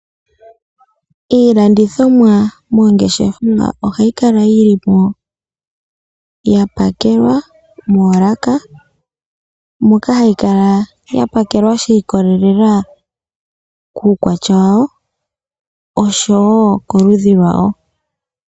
Iilandithomwa moongeshefa ohayi kala yili mo yapakelwa moolaka moka hayi kala ya pakelwa shi ikolelela kuukwatya wawo oshowo koludhi lwawo.